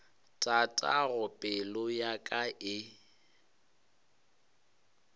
tatago pelo ya ka e